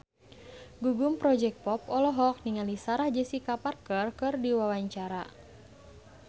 Gugum Project Pop olohok ningali Sarah Jessica Parker keur diwawancara